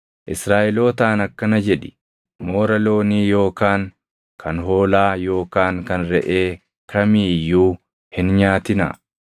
“Israaʼelootaan akkana jedhi; ‘Moora loonii yookaan kan hoolaa yookaan kan reʼee kamii iyyuu hin nyaatinaa.